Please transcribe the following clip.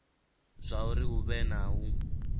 zwauri hu vhe na u